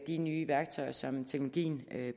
de nye værktøjer som teknologien